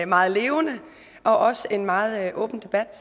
meget levende og også en meget åben debat